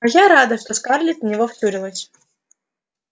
а я рада что скарлетт в него втюрилась